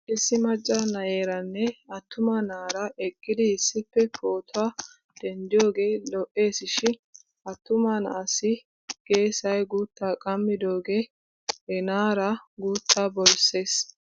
Issi macca na'eeranne attuma na'ara eqqidi issippe pootuwaa denddiyoogee lo'es shin attuma na'aassi geesay guuttaa qaammidoogee he na'aara guuttaa borsses.